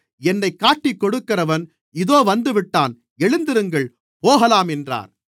என்னைக் காட்டிக்கொடுக்கிறவன் இதோ வந்துவிட்டான் எழுந்திருங்கள் போகலாம் என்றார்